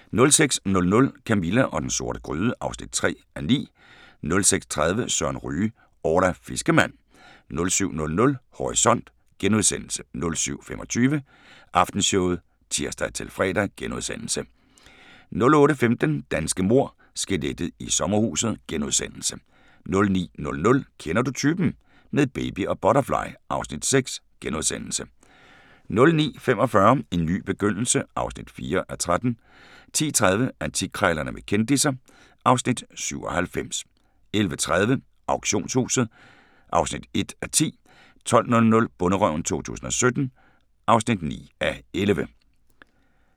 06:00: Camilla og den sorte gryde (3:9) 06:30: Søren Ryge: Orla fiskermand 07:00: Horisont * 07:25: Aftenshowet *(tir-fre) 08:15: Danske mord – Skelettet i sommerhuset * 09:00: Kender du typen? - med baby og butterfly (Afs. 6)* 09:45: En ny begyndelse (4:13) 10:30: Antikkrejlerne med kendisser (Afs. 97) 11:30: Auktionshuset (1:10) 12:00: Bonderøven 2017 (9:11)